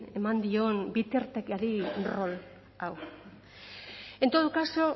eman dion bitartekari rol hau en todo caso